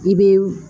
I bɛ